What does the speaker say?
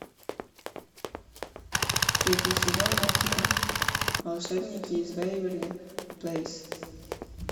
третий сезон мультика волшебники из вэйверли плэйс